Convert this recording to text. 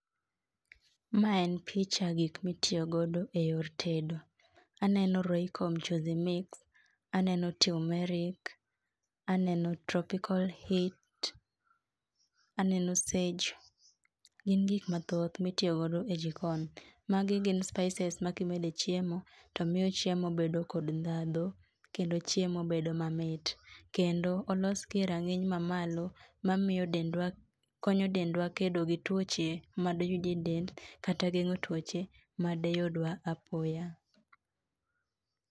Ma en picha gik mitiyo godo e yor tedo. Aneno Royco Mchuzi Mix, aneno turmeric, aneno tropcal heat, aneno sage. Gin gik mathoth mitiyo godo e jikon. Magi gin spices ma kimede e chiemo, to miyo chiemo bedo kod ndhadho kendo chiemo bedo mamit. Kendo, olosgi e rang'iny mamalo, mamiyo dendwa konyo dendwa kedo gi tuoche ma doyudie e dend, kata geng'o tuoche ma deyudwa apoya